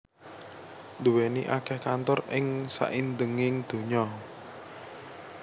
nduwèni akèh kantor ing saindhenging donya